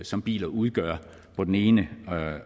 som biler udgør på den ene